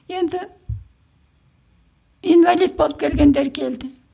енді инвалид болып келгендері келді